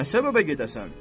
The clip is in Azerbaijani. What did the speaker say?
Nə səbəbə gedəsən?